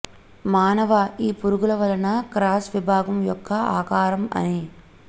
మానవ ఈ పురుగుల వలన క్రాస్ విభాగం యొక్క ఆకారం అని